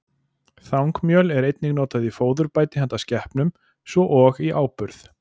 Þangmjöl er einnig notað í fóðurbæti handa skepnum, svo og í áburð.